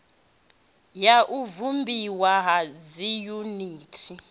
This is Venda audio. ya u vhumbiwa ha dziyuniti